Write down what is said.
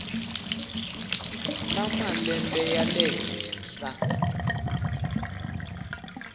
na malembe ya le henhla